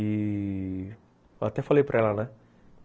E... eu até falei para ela, né?